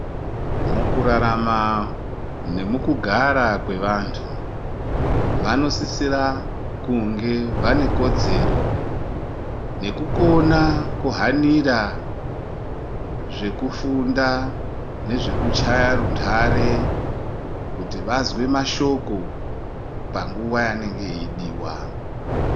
Mukurarama nemukugara kwevantu vanosisira kunge vane kodzero nekukona kuhanira zvekufunda nezvekuchaya rundare kuti vazwe mashoko panguwa yaanenge eidiwa.